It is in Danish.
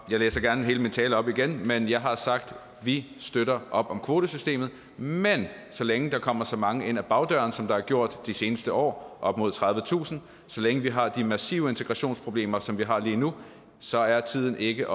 jeg gerne hele min tale op igen men jeg har sagt vi støtter op om kvotesystemet men så længe der kommer så mange ind ad bagdøren som der har gjort de seneste år op mod tredivetusind og så længe vi har de massive integrationsproblemer som vi har lige nu så er tiden ikke